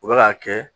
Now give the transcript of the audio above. U bɛ k'a kɛ